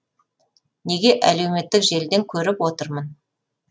неге әлеуметтік желіден көріп отырмын